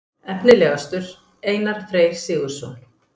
Efnilegastur: Einar Freyr Sigurðsson.